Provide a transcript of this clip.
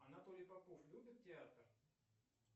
анатолий попов любит театр